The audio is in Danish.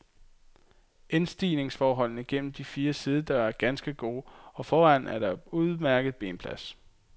Indstigningsforholdene gennem de fire sidedøre er ganske gode, og foran er der udmærket benplads.